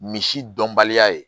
Misi dɔnbaliya ye